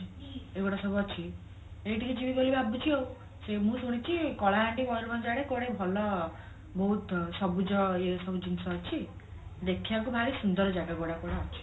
ଏଇ ଗୋଡା ସବୁ ଅଛି ଏଇଠିକି ଯିବୀ ବୋଲି ଭାବିଛି ଆଉ ମୁଁ ଶୁଣିଛି କଳାହାଣ୍ଡି ମୟୂରଭଞ୍ଜ ଆଡେ କୁଆଡେ ଭଲ ବହୁତ ସବୁଜ ଇଏ ସବୁ ଜିନିଷ ଅଛି ଦେଖିବାକୁ ଭାରି ସୁନ୍ଦର ଜାଗା ଗୁଡାକ